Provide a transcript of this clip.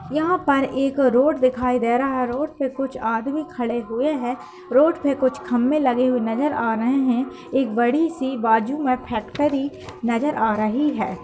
यहाँ पर एक रोड दिखाई दे रहा। रोड पे कुछ आदमी खड़े हुए हैं। रोड पे कुछ खम्मे लगे हुए नजर आ रहें हैं। एक बड़ी सी बाजू में फेक्टरी नजर आ रही है।